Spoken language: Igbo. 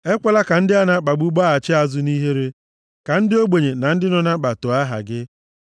Ekwela ka ndị a na-akpagbu gbaghachi azụ nʼihere; ka ndị ogbenye na ndị nọ na mkpa too aha gị.